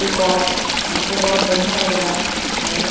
peacock हमको बहोत बढ़िया लग रहा है मोर --